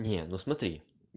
не ну смотри